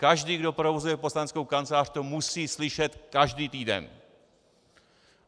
Každý, kdo provozuje poslaneckou kancelář, to musí slyšet každý týden.